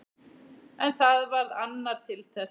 En það varð annar til þess.